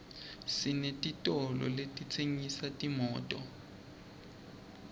senetitolo letitsengisa timoto